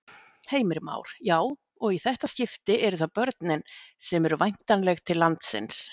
Heimir Már: Já, og í þetta skipti eru það börnin sem eru væntanleg til landsins?